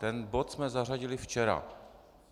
Ten bod jsme zařadili včera.